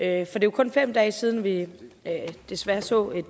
er jo kun fem dage siden vi desværre så en